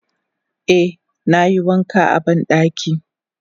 Eh nayi wanka a bandaki.